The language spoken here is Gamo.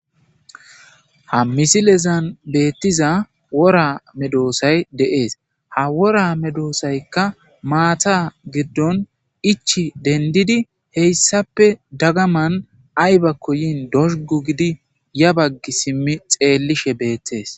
Ha misilen bettiza worra medhdhosay de'es ha worra medhdhosayikka matta giddon echchi denddiri haysappe daggaman atibbakko yini dozugu gidi yabagi shimishe xelishsheni deththes.